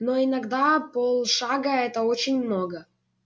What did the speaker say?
но иногда полшага это очень много